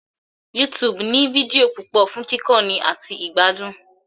YouTube ní fídíò púpọ̀ fún kíkọ́ni àti ìgbádùn